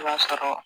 I b'a sɔrɔ